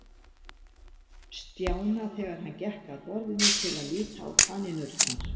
Stjána þegar hann gekk að borðinu til að líta á kanínurnar.